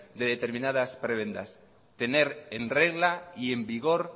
de determinadas prebendas tener en regla y en vigor